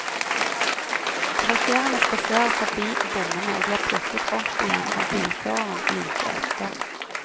Passasjerene spaserer fordi bommene og blir plukket opp igjen av bilføreren like etter.